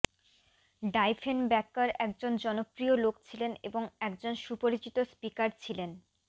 Diefenbaker একজন জনপ্রিয় লোক ছিলেন এবং একজন সুপরিচিত স্পিকার ছিলেন